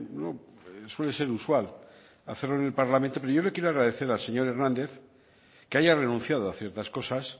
no suele ser usual hacerlo en el parlamento pero yo le quiero agradecer al señor hernández que haya renunciado a ciertas cosas